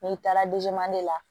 N'i taara la